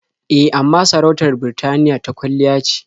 E, amma sarautar Birtaniya ta kwalliya ce.